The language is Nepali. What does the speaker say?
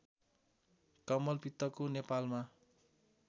कमलपित्तको नेपालमा